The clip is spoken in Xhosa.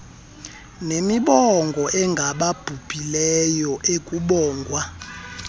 nemibongo engababhubhileyo ekubongwa